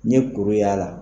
N ye kuru y'a la.